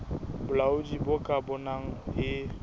bolaodi bo ka bonang e